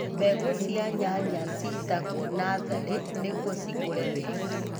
Mbegu cia nyanya citagwo natharĩ-inĩ nĩgwo cikure wega.